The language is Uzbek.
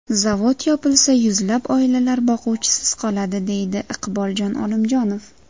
Zavod yopilsa, yuzlab oilalar boquvchisiz qoladi”, deydi Iqboljon Olimjonov.